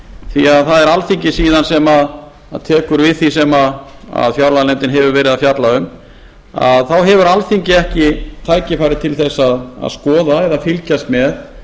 því það er alþingi síðan sem tekur við því sem fjárlaganefndin hefur verið að fjalla um þá hefur alþingi ekki tækifæri til þess að skoða eða fylgjast með